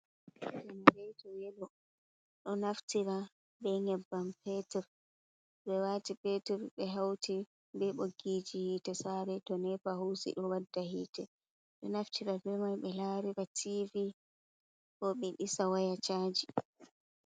Jenareito yelo ɗo naftira be nyebbam petur ɓe wati peter ɓe hauti be ɓoggiji hite sare to nepa hosi ɗo waɗɗa hite ɗo naftira bemai ɓe larira tivi bo ɓe ɗisa waya caji.